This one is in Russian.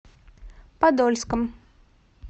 подольском